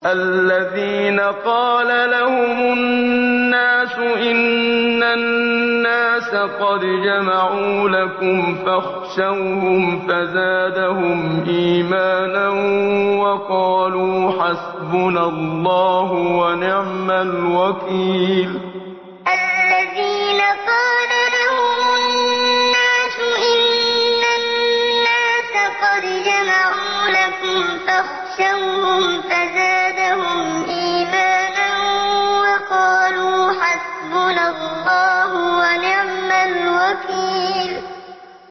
الَّذِينَ قَالَ لَهُمُ النَّاسُ إِنَّ النَّاسَ قَدْ جَمَعُوا لَكُمْ فَاخْشَوْهُمْ فَزَادَهُمْ إِيمَانًا وَقَالُوا حَسْبُنَا اللَّهُ وَنِعْمَ الْوَكِيلُ الَّذِينَ قَالَ لَهُمُ النَّاسُ إِنَّ النَّاسَ قَدْ جَمَعُوا لَكُمْ فَاخْشَوْهُمْ فَزَادَهُمْ إِيمَانًا وَقَالُوا حَسْبُنَا اللَّهُ وَنِعْمَ الْوَكِيلُ